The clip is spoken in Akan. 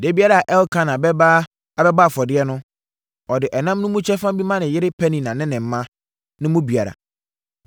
Da biara a Elkana bɛba abɛbɔ afɔdeɛ no, ɔde ɛnam no mu nkyɛmu bi ma ne yere Penina ne ne mma no mu biara.